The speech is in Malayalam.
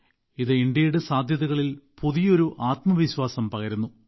അത് ഇന്ത്യയുടെ സാധ്യതകളിൽ പുതിയൊരു ആത്മവിശ്വാസം പകരുന്നു